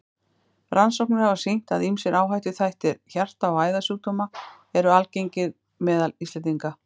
Rannsóknir hafa sýnt, að ýmsir áhættuþættir hjarta- og æðasjúkdóma eru algengir meðal Íslendinga.